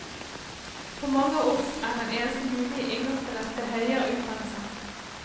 For mange av oss er det eneste mulige inngangsbillett til høyere utdannelse.